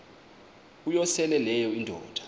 uyosele leyo indoda